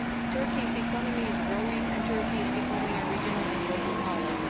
Turkey's economy is growing and Turkey is becoming a regional and global power.